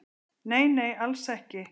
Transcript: Nei nei, alls ekki